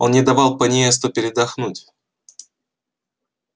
он не давал пониесту передохнуть